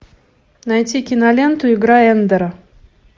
найти киноленту игра эндера